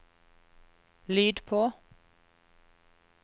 lyd på